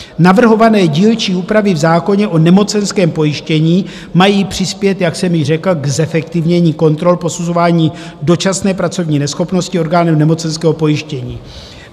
Navrhované dílčí úpravy v zákoně o nemocenském pojištění mají přispět, jak jsem již řekl, k zefektivnění kontrol posuzování dočasné pracovní neschopnosti orgánem nemocenského pojištění.